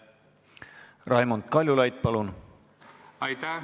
Raimond Kaljulaid, palun!